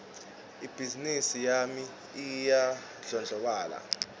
ibhizimisi yami iyandlondlobala